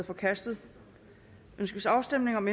forkastet ønskes afstemning om